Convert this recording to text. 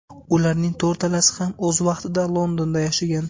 Ularning to‘rtalasi ham o‘z vaqtida Londonda yashagan.